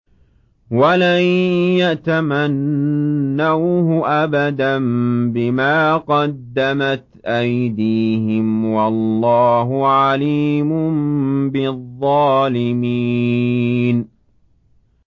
وَلَن يَتَمَنَّوْهُ أَبَدًا بِمَا قَدَّمَتْ أَيْدِيهِمْ ۗ وَاللَّهُ عَلِيمٌ بِالظَّالِمِينَ